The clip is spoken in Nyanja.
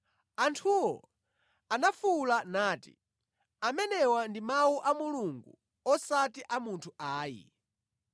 Anthuwo anafuwula nati, “Amenewa ndi mawu a mulungu osati a munthu ayi.”